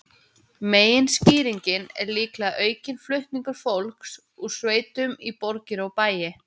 Meginskýringin er líklega aukinn flutningur fólks úr sveitum í borgir og bæi.